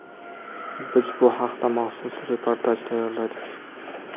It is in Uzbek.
Biz bu haqda maxsus reportaj tayyorladik.